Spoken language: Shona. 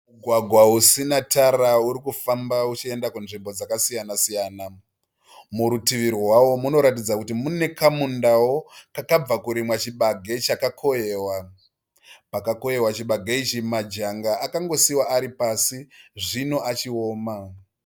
Mugwagwa usina tara uri kufamba uchienda kunzvimbo dzakasiyanasiyana. Murutivi rwawo munoratidza kuti mune kamundawo kakabva kurimwa chibage chakakohwewa. Pakakohwewa chibage ichi majanga akangosiyiwa